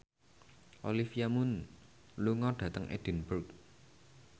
Olivia Munn lunga dhateng Edinburgh